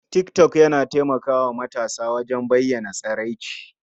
Tik tok yana taimaka wa matasa wajen bayyana tsiraici.